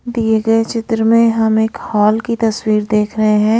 दिए गए चित्र में हम एक हॉल की तस्वीर देख रहे हैं।